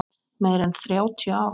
Meira en þrjátíu ár.